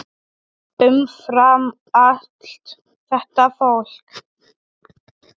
Umfram allt þetta fólk.